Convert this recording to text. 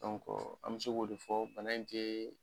an mi se k'o de fɔ bana in te